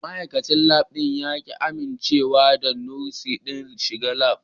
Ma'aikacin Lab ɗin ya ƙi amincewa da Nurse ɗin shiga Lab.